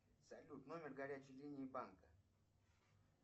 салют номер горячей линии банка